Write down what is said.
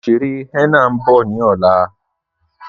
Oṣèrè henna n bọ̀ ni ọlá